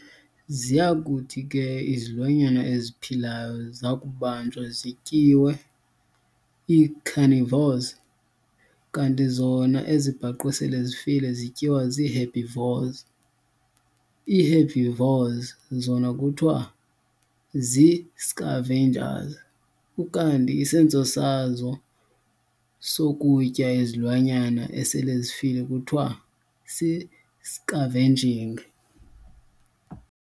Ziyakuthi ke izilwanyana eziphilayo zakubanjwa zityiwe ii-carnivores kanti zona ezibhaqwe sele zifile zityiwa zii-herbivores. Ii-herbivores zona kuthiwa zii-scavengers, ukanti isenzo sazo sokutya izilwanyana esele zifile kuthiwa sisi-scavenging.